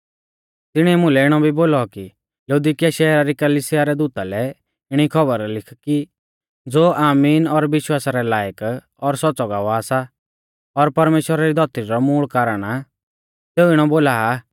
तिणीऐ मुलै इणौ भी बोलौ कि लौदीकिया शैहरा री कलिसिया रै दूता लै इणी खौबर लिख कि ज़ो आमीन और विश्वासा रै लायक और सौच़्च़ौ गवाह सा और परमेश्‍वरा री धौतरी रौ मूल़ कारण आ सेऊ इणौ बोला आ